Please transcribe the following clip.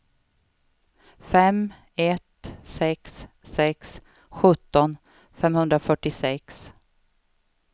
fem ett sex sex sjutton femhundrafyrtiosex